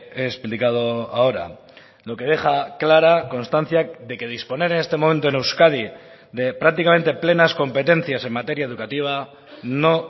he explicado ahora lo que deja clara constancia de que disponer en este momento en euskadi de prácticamente plenas competencias en materia educativa no